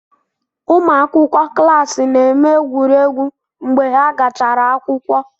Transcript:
Ụmụ akwụkwọ klaasi na-eme egwuregwu mgbe ha gachara akwụkwọ.